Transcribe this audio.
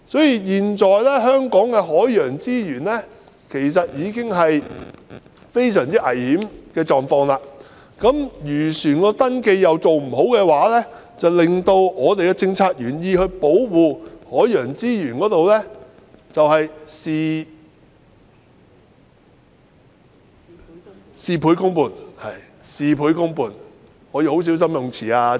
因此，現時香港的海洋資源已處於非常危險的狀況，如果漁船的登記又做得不好的話，便會令原意是保護本港海洋資源的政策事倍功半。